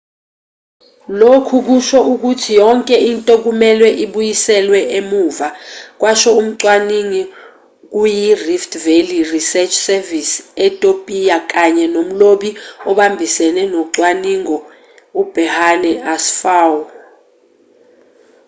lokhu kusho ukuthi yonke into kumelwe ibuyiselwe emuva kwasho umcwaningi kuyirift valley research service etopiya kanye nomlobi obambisene wocwaningo uberhane asfaw